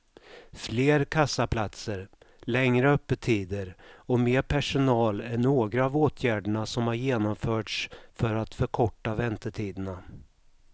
Fler kassaplatser, längre öppettider och mer personal är några av åtgärderna som har genomförts för att förkorta väntetiderna.